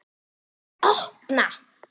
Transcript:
VILJIÐI OPNA!